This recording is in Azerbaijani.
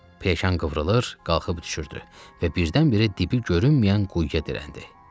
Peşkan qıvrılır, qalxıb düşürdü və birdən-birə dibi görünməyən quyuya dirəndi.